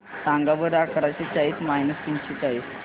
सांगा बरं अकराशे चाळीस मायनस तीनशे चाळीस